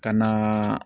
Ka na